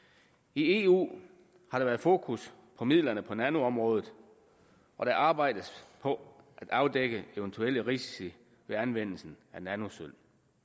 i eu har der været fokus på midlerne på nanoområdet og der arbejdes på at afdække eventuelle risici ved anvendelse af nanosølv